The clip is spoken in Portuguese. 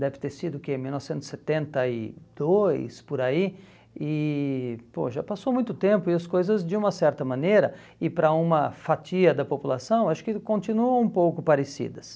deve ter sido o que, em mil novecentos e setenta e dois, por aí, e pô já passou muito tempo e as coisas, de uma certa maneira, e para uma fatia da população, acho que continuam um pouco parecidas.